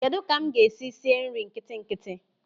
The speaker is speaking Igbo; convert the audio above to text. Kedụ ka m ga-esi sie nri nkitinkiti?